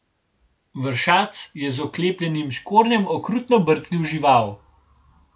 Vršac je z oklepljenim škornjem okrutno brcnil žival.